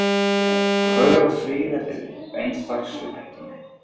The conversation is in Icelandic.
Fögur og fríð eftir eins dags upphitun.